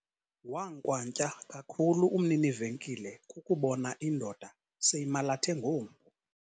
Wankwantya kakhulu umnini-venkile kukubona indoda seyimalathe ngompu.